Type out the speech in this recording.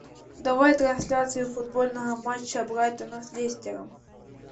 давай трансляцию футбольного матча брайтона с лестером